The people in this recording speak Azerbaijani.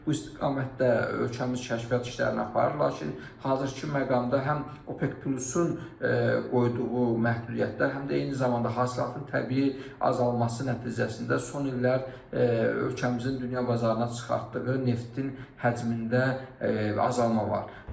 Bu istiqamətdə ölkəmiz kəşfiyyat işlərini aparır, lakin hazırki məqamda həm OPEC Plus-un qoyduğu məhdudiyyətlər, həm də eyni zamanda hasilatın təbii azalması nəticəsində son illər ölkəmizin dünya bazarına çıxartdığı neftin həcmində azalma var.